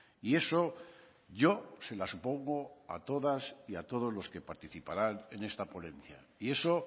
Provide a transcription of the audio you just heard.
y eso yo se la supongo a todas y a todos los que participaran en esta ponencia y eso